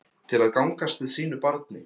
Til að gangast við sínu barni.